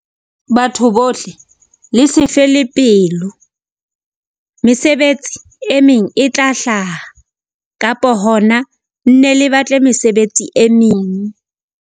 Batho bohle le se fe le pelo. Mesebetsi e meng e tla hlaha, kapa hona nne le batle mesebetsi e meng.